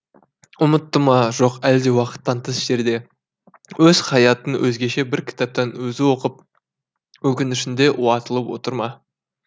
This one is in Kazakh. ұмытты ма жоқ әлде уақыттан тыс жерде өз хаятын өзгеше бір кітаптан өзі оқып өкінішінде уатылып отыр ма